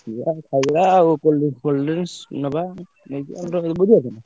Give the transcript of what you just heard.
ଯିବା ଆଉ ଖାଇବା ଆଉ cold drinks ଫୋଲ୍ drinks ନବା ଆଉ ନେଇକି ଆମର ବୁଝି ପାରୁଛ ନା।